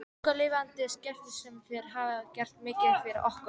Mikið lifandis skelfing sem þér hafið gert mikið fyrir okkur.